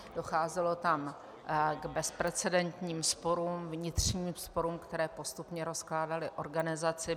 Docházelo tam k bezprecedentním sporům, vnitřním sporům, které postupně rozkládaly organizaci.